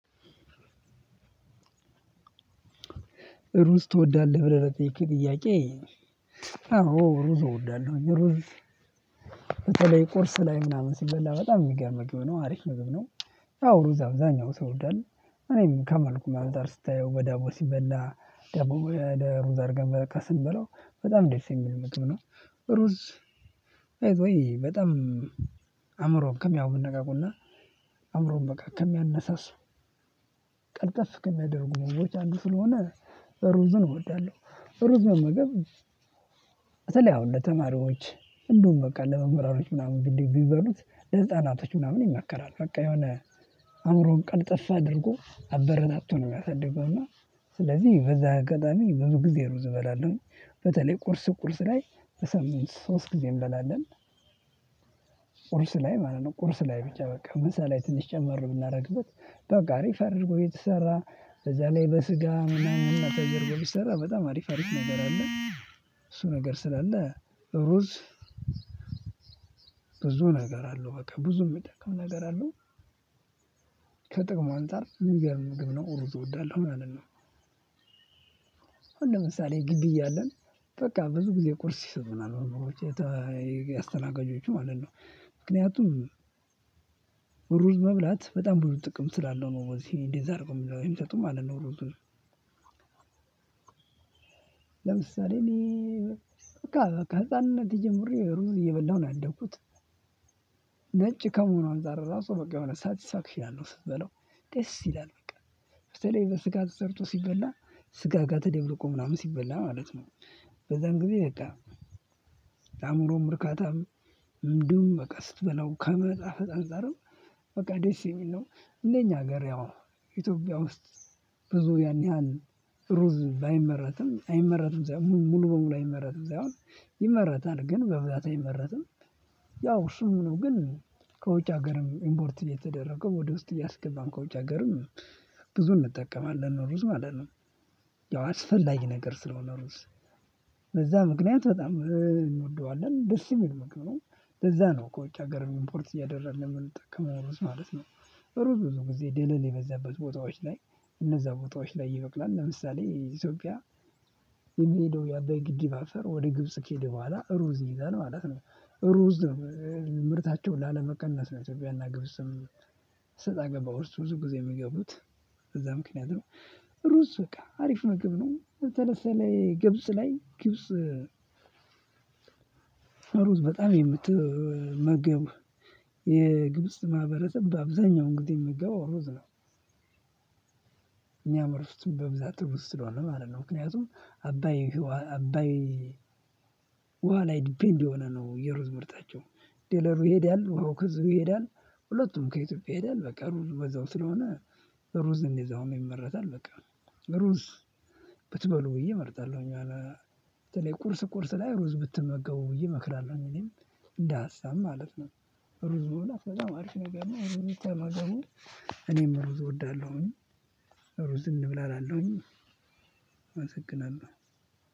"እሩዝ ትወዳለህ?" ብለህ ለጠየከኝ ጥያቄ አዎ እሩዞ እወዳለሁኝ። ሩዝ በተለይ ቁርስ ላይ ምናምን ሲበላ በጣም የሚገርም ምግብ ነው አሪፍ ምግብ ነው። አዎ እሩዛ አብዛኛው ሰው ይወዳል ከመልኩም አንፃር ስታየው በዳቦ ሲበላ ዳቦ በሩዝ አርገን ስንበላው በጣም ደስ የሚል ምግብ ነው። እሩዝ ባይዘወይ በጣም አይምሮን ከሚያነቃቁ እና አይምሮን ከሚያነሳሱ ቀልጠፍ ከሚያደርጉ ምግቦች አንዱ ስለሆነ እሩዝን እወዳለሁ። እሩዝ መመገብ በተለይ አሁን ለተማሪዎች፣ እንዲሁም በቃ ለመምህራኖች ምናምን ቢበሉት ለህጻናቶች ምናምን ይመከራል። በቃ የሆነ አእምሮን ቀልጠፍ አድርጎ አበረታቱ ነው የሚያሳድገው እና ስለዚህ በዚህ አጋጣሚ ብዙ ጊዜ ሩዝ እበላለሁኝ። በተለይ ቁርስ ቁርስ ላይ በሳምንት ሶስት ጊዜ እንበላለን። ላይ ማለት ነው ቁርስ ላይ ብቻ በቃ ምሳ ላይ ትንሽ ጨመር ብናደርግበት በቃ አሪፍ አድርጎ የተሰራ በዛ ላይ በስጋ ምናምን ነው ተደርጎ ሚሰራው በጣም አሪፍ አሪፍ ነገር አለ እሱ ነገር ስላለ እሩዝ ብዙ ነገር አለው በቃ ብዙ የሚጠቀም ነገር አለው። ከጥቅሙ አንፃር ሚገርም ምግብ ነው እሩዝ እወዳለሁ ማለት ነው። አሁን ለምሳሌ ግቢ እያለን በቃ ብዙ ጊዜ ቁርስ ይሰጡናል መምህሮች የተ አስተናጋጆቹ ማለት ነው። ምክንያቱም እሩዝ መብላት በጣም ብዙ ጥቅም ስላለው ነው በዚህ እንደዚህ አድርገው የሚሰጡን ማለት ነው እሩዙን ለምሳሌ እኔ በቃ ከህፃንነቴ ጀምሬ እሩዝ እየበላሁ ነው ያደኩት ነጭ ከመሆኑ አንፃር እራሱ በቃ የሆነ ሳቲስፋክሽን አለው ስትበላው ደስ ይላል በቃ በተለይ በስጋ ተሰርቶ ሲበላ ስጋ ጋር ተደብልቆ ምናምን ሲበላ ማለት ነው በዛም ጊዜ በቃ ለአእምሮም እርካታም እንዲሁም በቃ ስትበላው ከመጣፈጥ አንፃርም በቃ ደስ የሚል ነው እንደኛ ሀገር ያው ኢትዮጵያ ውስጥ ብዙ ያን ያህል እሩዝ ባይመረትም አይመረትም ሳይሆን ሙሉ በሙሉ አይመረትም ሳይሆን ይመረታል፤ ግን በብዛት አይመረትም። ያው እሱም ነው ግን ከውጭ ሀገርም ኢምፖርት እየተደረገ ወደ ውስጥ እያስገባን ከውጭ ሃገርም ብዙ እንጠቀማለን እሩዝ ማለት ነው። ያው አስፈላጊ ነገር ስለሆነ እሩዝ ለዛ ምክንያት በጣም እንወደዋለን ደስ የሚል ምግብ ነው። ለዛ ነው ከውጭ ሀገርም ኢምፖርት እያደረን የምንጠቀመው እሩዝ ማለት ነው። እሩዝ ብዙ ጊዜ ደለል የበዛበት ቦታዎች ላይ እነዛ ቦታዎች ላይ ይበቅላል። ለምሳሌ ኢትዮጵያ የሚሄደው የአባይ ግድብ አፈር ወደ ግብጽ ከሄደ በኋላ እሩዝ ይይዛል ማለት ነው። እሩዝ ምርታቸውን ላለመቀነስ ነው ኢትዮጵያና ግብጽም ሰጣ ገባ ውስጥ ብዙ ጊዜ የሚገቡት በዛ ምክንያት ነው። እሩዝ በቃ አሪፍ ምግብ ነው ተለሰለኝ ግብጽ ላይ ግብጽ እሩዝ በጣም የምትመገብ የግብጽ ማህበረሰብ በአብዛኛውን ጊዜ የሚመገበው እሩዝ ነው። የሚያመርቱትም በብዛት እሩዝ ስለሆነ ማለት ነው። ምክንያቱም አባይ አባይ ላይ ዲፔንድ የሆነ ነው የሩዝ ምርታቸው ደለሉ ይሄዳሉ ውሃው ከዚሁ ይሄዳል ሁለቱም ከኢትዮጵያ ይሄዳል በቃ እሩዙ በዛው ስለሆነ ሩዝን እዛውም ይመረታል በቃ ሩዝ ብትበሉ ብዬ እመርጣለሁኝ የሆነ በተለይ ቁርስ ቁርስ ላይ ሩዝ ብትመገቡ ብዬ እመክራለሁኝ እኔም እንደሃሳብ ማለት ነው እሩዝ መብላት በጣም አሪፍ ነገር ነው። ተማ እኔም እሩዝ እወዳለሁኝ። ሩዝ እንብላ እላለሁኝ አመሰግናለሁ።